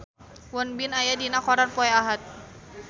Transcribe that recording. Won Bin aya dina koran poe Ahad